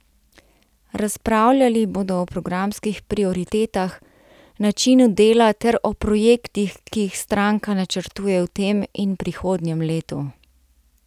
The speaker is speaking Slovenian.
Razpravljali bodo o programskih prioritetah, načinu dela ter o projektih, ki jih stranka načrtuje v tem in prihodnjem letu.